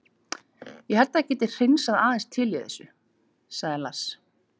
Ég held að það geti hreinsað aðeins til í þessu, sagði Lars.